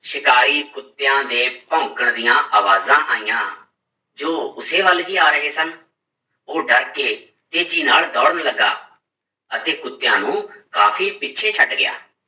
ਸ਼ਿਕਾਰੀ ਕੁੱਤਿਆਂ ਦੇ ਭੋਂਕਣ ਦੀਆਂ ਆਵਾਜ਼ਾਂ ਆਈਆਂ, ਜੋ ਉਸੇ ਵੱਲ ਹੀ ਆ ਰਹੇ ਸਨ ਉਹ ਡਰ ਕੇ ਤੇਜ਼ੀ ਨਾਲ ਦੌੜਨ ਲੱਗਾ ਅਤੇ ਕੁੁੱਤਿਆਂ ਨੂੰ ਕਾਫ਼ੀ ਪਿੱਛੇ ਛੱਡ ਗਿਆ,